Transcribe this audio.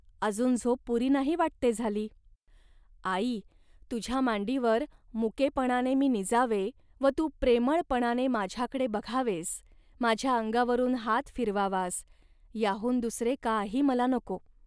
अजून झोप पुरी नाही वाटते झाली. ."आई, तुझ्या मांडीवर मुकेपणाने मी निजावे व तू प्रेमळपणाने माझ्याकडे बघावेस, माझ्या अंगावरून हात फिरवावास, याहून दुसरे काही मला नको